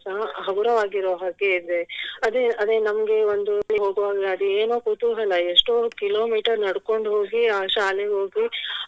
ಸಹ ಹಗುರವಾಗಿ ಇರೋ ಹಾಗೆ ಇದೆ ಅದೇ ಅದೇ ನಮ್ಗೆ ಒಂದು ಹೋಗುವಾಗ ಅದೇನೋ ಕುತೂಹಲ ಎಷ್ಟೋ kilometer ನಡ್ಕೊಂಡು ಹೋಗಿ ಆ ಶಾಲೆ ಹೋಗಿ